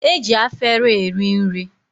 E ji afere eri nri.